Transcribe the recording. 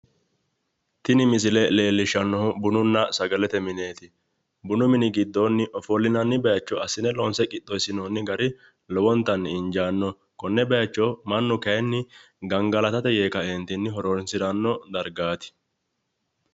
Tini misile leellishshannohu bununna sagalete mineeti. Bunu mini giddoonni ofollinanni bayicho assine loonse qixxeessinoonni gari lowontanni injaannoho. Konne bayicho mannu kayinni gangalatate yee kaeentinni horoonsiranno dargaati.